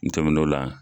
N tɛmɛn'o la